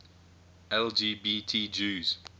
lgbt jews